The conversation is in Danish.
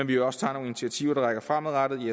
vi også tager nogle initiativer der rækker fremad